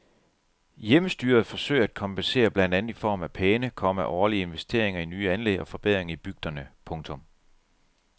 Hjemmestyret forsøger at kompensere blandt andet i form af pæne, komma årlige investeringer i nye anlæg og forbedringer i bygderne. punktum